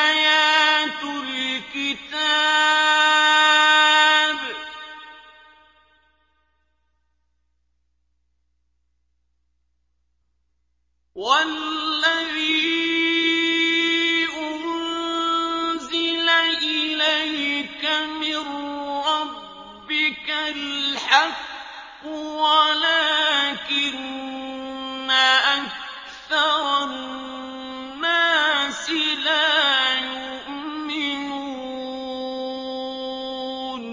آيَاتُ الْكِتَابِ ۗ وَالَّذِي أُنزِلَ إِلَيْكَ مِن رَّبِّكَ الْحَقُّ وَلَٰكِنَّ أَكْثَرَ النَّاسِ لَا يُؤْمِنُونَ